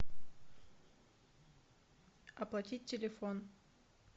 оплатить телефон